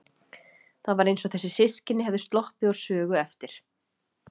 Það var eins og þessi systkini hefðu sloppið úr sögu eftir